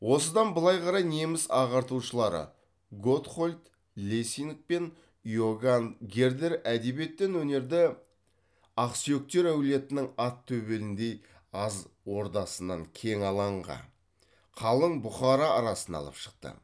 осыдан былай қарай неміс ағартушылары готхолд лессинг пен иоганн гердер әдебиет пен өнерді ақсүйектер әулетінің ат төбеліндей аз ордасының кең алаңға қалың бұқара арасына алып шықты